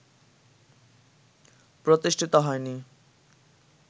প্রতিষ্ঠিত হয় নি